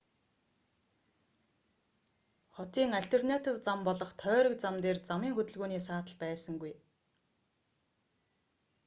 хотын альтернатив зам болох тойрог зам дээр замын хөдөлгөөний саатал байсангүй